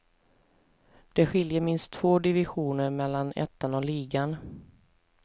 Det skiljer minst två divisioner mellan ettan och ligan.